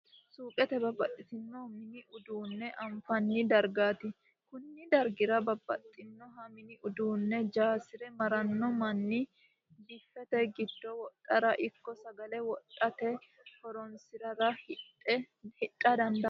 Suukete babaxinoha mini uduu'ne afinanni darigati koni darigira babaxinoha mini uduune jasire marano manni biffete gido wodharra ikko sagale wodhate horonsirara hidha dandano